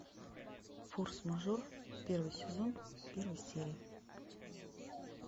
форс мажор первый сезон первая серия